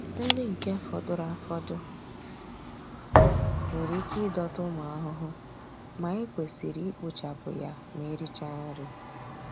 Nri nke fọdụrụ afọdụ nwere ike ịdọta ụmụ ahụhụ ma e kwesịrị ikpochapụ ya ma erichaa nri.